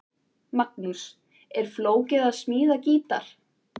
Magnús: Er flókið að smíða gítar?